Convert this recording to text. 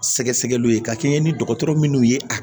Sɛgɛsɛgɛliw ye ka kɛɲɛ ni dɔgɔtɔrɔ minnu ye